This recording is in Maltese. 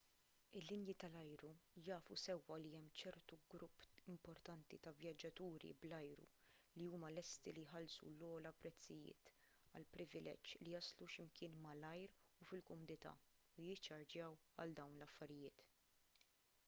il-linji tal-ajru jafu sewwa li hemm ċertu grupp importanti ta' vjaġġaturi bl-ajru li huma lesti li jħallsu l-ogħla prezzijiet għall-privileġġ li jaslu xi mkien malajr u fil-kumdità u jiċċarġjaw għal dawn l-affarijiet